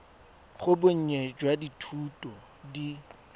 ga bonnye jwa dithuto di